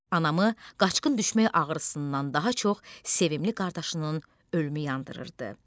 Anamı qaçqın düşmək ağrısından daha çox sevimli qardaşının ölümü yandırırdı.